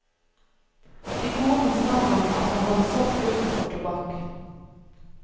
Til konen sa han at han hadde solgt gutten for tobakk.